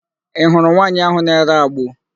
Ị hụrụ nwaanyị áhụ̀ na-ere agbo?